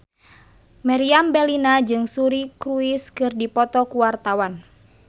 Meriam Bellina jeung Suri Cruise keur dipoto ku wartawan